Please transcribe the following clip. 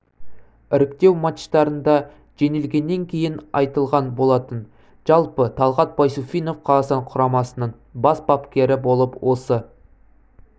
іріктеу матчтарында жеңілгеннен кейін айтылған болатын жалпы талгат байсуфинов қазақстан құрамасының бас бапкері болып осы